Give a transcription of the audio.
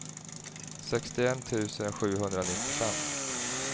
sextioett tusen sjuhundranittiofem